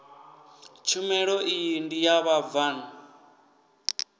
tshumelo iyi ndi ya vhabvann